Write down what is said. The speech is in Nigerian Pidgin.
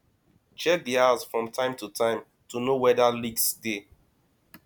check di house from time to time to know weda leaks dey